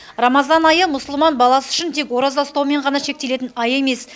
рамазан айы мұсылман баласы үшін тек ораза ұстаумен ғана шектелетін ай емес